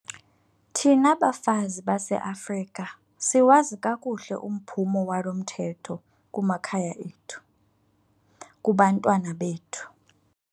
Thina bafazi baseAfrika siwazi kakuhle umphumo walo mthetho kumakhaya ethu, kubantwana bethu.